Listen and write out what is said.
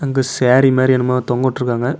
அங்கு சேரி மாரி என்னமோ தொங்கவுட்ருக்காங்க.